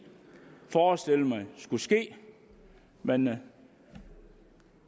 forestillet mig skulle ske men